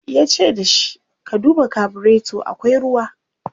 yace da shi " ka duba carburator akwai ruwa!"